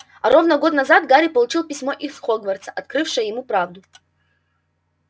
а ровно год назад гарри получил письмо из хогвартса открывшее ему правду